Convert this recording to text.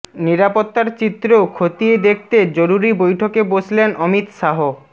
নিরাপত্তার চিত্র খতিয়ে দেখতে জরুরী বৈঠকে বসলেন অমিত শাহ